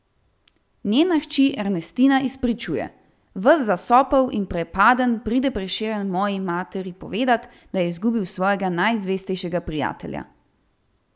Njena hči Ernestina izpričuje: "Ves zasopel in prepaden pride Prešeren moji materi povedat, da je izgubil svojega najzvestejšega prijatelja.